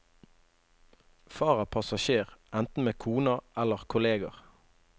Far er passasjer, enten med kona eller kolleger.